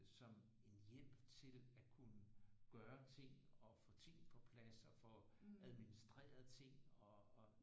Som en hjælp til at kunne gøre ting og få ting på plads og få administreret ting og